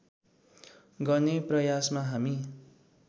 गर्ने प्रयासमा हामी